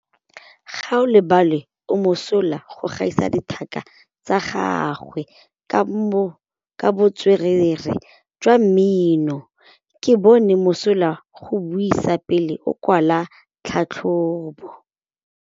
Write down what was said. Gaolebalwe o mosola go gaisa dithaka tsa gagwe ka botswerere jwa mmino. Ke bone mosola wa go buisa pele o kwala tlhatlhobô.